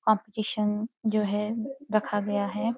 Competition जो है रखा गया है।